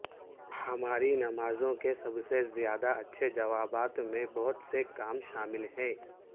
ہماری نمازوں کے سب سے زیادہ اچھے جوابات میں بہت سے کام شامل ہیں